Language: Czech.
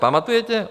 Pamatujete?